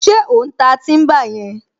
Ṣé ò ń ta tíḿbà yẹn?